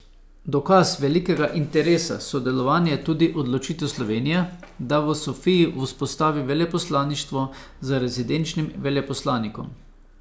Dokaz velikega interesa sodelovanja je tudi odločitev Slovenije, da v Sofiji vzpostavi veleposlaništvo z rezidenčnim veleposlanikom.